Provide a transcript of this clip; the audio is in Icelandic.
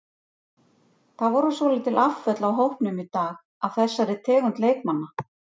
Það voru svolítil afföll af hópnum í dag af þessari tegund leikmanna.